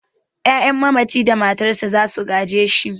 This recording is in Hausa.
'Ya'yan mamaci da matarsa za su gaje shi.